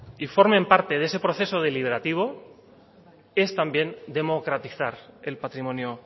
y formen parte de ese proceso deliberativo es también democratizar el patrimonio